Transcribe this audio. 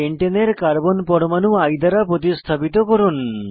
পেন্টেনের carbon পরমাণু I দ্বারা প্রতিস্থাপিত করুন